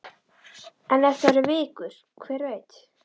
En ef það eru vikur, hver veit?